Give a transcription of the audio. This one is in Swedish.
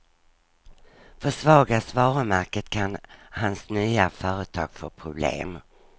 Försvagas varumärket kan hans nya företag få problem.